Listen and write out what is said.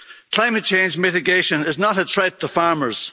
Climate change mitigation is not a threat to farmers.